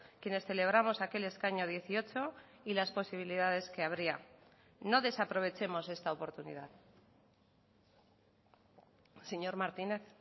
quienes celebramos aquel escaño dieciocho y las posibilidades que habría no desaprovechemos esta oportunidad señor martínez